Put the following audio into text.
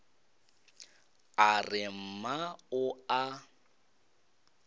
a re mma o a